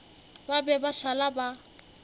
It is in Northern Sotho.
ba be ba šala ba